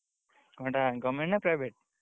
କଁ ହେଟା government ନା private ?